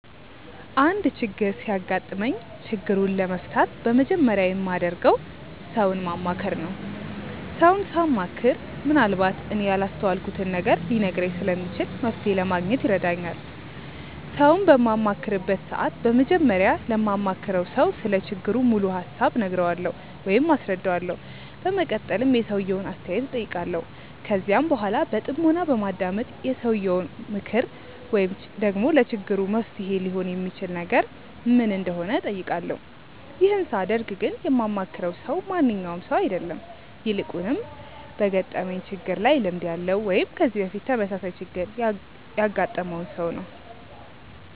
አንድ ችግር ሲያጋጥመኝ ችግሩን ለመፍታት በመጀመሪያ የማደርገው ሰውን ማማከር ነው። ሰውን ሳማክር ምንአልባት እኔ ያላስተዋልኩትን ነገር ሊነግረኝ ስለሚችል መፍተሔ ለማግኘት ይረዳኛል። ሰውን በማማክርበት ሰዓት በመጀመሪያ ለማማክረው ሰው ስለ ችግሩ ሙሉ ሀሳብ እነግረዋለሁ ወይም አስረዳዋለሁ። በመቀጠልም የሰውየውን አስተያየት እጠይቃለሁ። ከዚያም በኃላ በጥሞና በማዳመጥ የሰውየው ምክር ወይም ደግሞ ለችግሩ መፍትሔ ሊሆን የሚችል ነገር ምን እንደሆነ እጠይቃለሁ። ይህን ሳደርግ ግን የማማክረው ሰው ማንኛውም ሰው አይደለም። ይልቁንም በገጠመኝ ችግር ላይ ልምድ ያለው ወይም ከዚህ በፊት ተመሳሳይ ችግር ያገጠመውን ሰው ነው።